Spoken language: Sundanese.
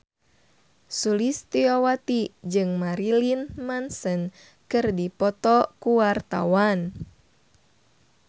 Sulistyowati jeung Marilyn Manson keur dipoto ku wartawan